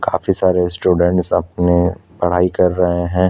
काफी सारे स्टूडेंट अपने पढ़ाई कर रहै हैं।